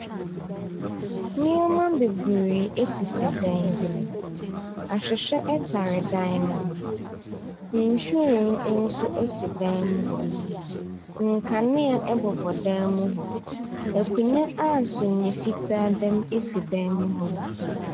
Nneɛma bebree sisi dan bi mu. Ahwehwɛ tare dan no hi. Nhwiren nso so dan no mu hɔnom. Nkanea bobɔ dan mu hɔ. Akonnwa simiiɛ fitaa da mu si dan mu hɔnom.